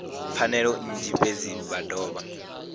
pfanelo nnzhi fhedzi vha dovha